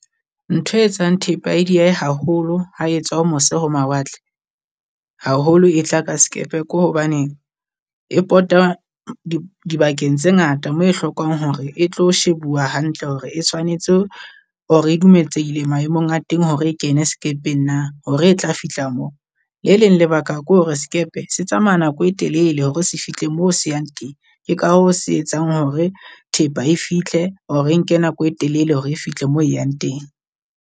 Ntho e etsang thepa e diehe haholo ha etswa ho mose ho mawatle, haholo e tla ka sekepe ko hobane, e pota dibakeng tse ngata mo e hlokang hore e tlo shebuwa hantle hore e tshwanetse or-e e dumeletsehile maemong a teng hore e kene sekepeng na. Hore e tla fihla moo, le leng lebaka ke hore sekepe se tsamaya nako e telele hore se fihle moo se yang teng. Ke ka hoo se etsang hore thepa e fitlhe or-e nke nako e telele hore e fitlhe moo e yang teng.